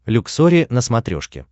люксори на смотрешке